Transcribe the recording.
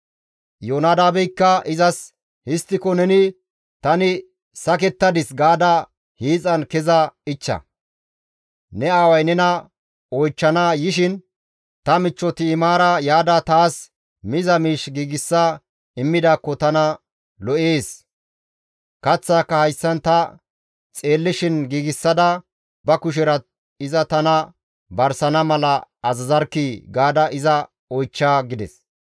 Iyoonadaabeykka izas, «Histtiko neni, ‹Tani sakettadis› gaada hiixan keza ichcha; ne aaway nena oychchana yishin, ‹Ta michcho Ti7imaara yaada taas miza miish giigsa immidaakko tana lo7ees; kaththaaka hayssan ta xeellishin giigsada ba kushera iza tana barsana mala azazarkkii!› gaada iza oychcha» gides.